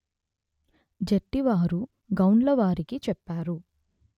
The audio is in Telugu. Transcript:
జెట్టివారు గౌండ్లవారికి చెప్తారు